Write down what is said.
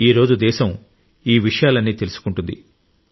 ఈ రోజు దేశం ఈ విషయాలన్నీ తెలుసుకుంటుంది